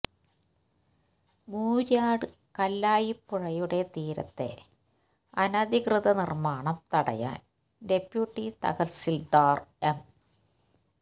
മൂര്യാട് കല്ലായിപ്പുഴയുടെ തീരത്തെ അനധികൃത നിർമാണം തടയാൻ ഡെപ്യൂട്ടി തഹസിൽദാർ എം